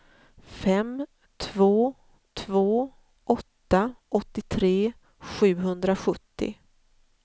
fem två två åtta åttiotre sjuhundrasjuttio